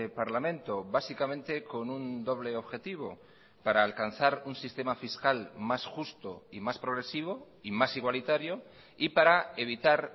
parlamento básicamente con un doble objetivo para alcanzar un sistema fiscal más justo y más progresivo y más igualitario y para evitar